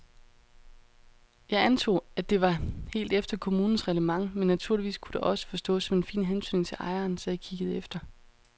Jeg antog, at det var helt efter kommunens reglement men naturligvis kunne det også forstås som en fin hentydning til ejeren, så jeg kiggede efter.